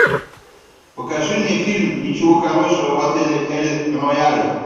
покажи мне фильм ничего хорошего в отеле эль рояль